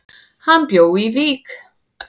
Hann bjó í Vík.